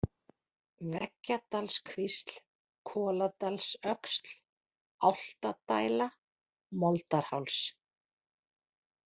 Veggjadalskvísl, Koladalsöxl, Álftadæla, Moldarháls